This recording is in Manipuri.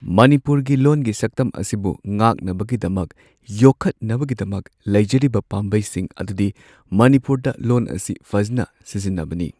ꯃꯅꯤꯄꯨꯔꯒꯤ ꯂꯣꯟꯒꯤ ꯁꯛꯇꯝ ꯑꯁꯤꯕꯨ ꯉꯥꯛꯅꯕꯒꯤꯗꯃꯛ ꯌꯣꯈꯠꯅꯕꯒꯤꯗꯃꯛ ꯂꯩꯖꯔꯤꯕ ꯄꯥꯝꯕꯩꯁꯤꯡ ꯑꯗꯨꯗꯤ ꯃꯅꯤꯄꯨꯔꯗ ꯂꯣꯟ ꯑꯁꯤ ꯐꯖꯟꯅ ꯁꯤꯖꯤꯟꯅꯕꯅꯤ꯫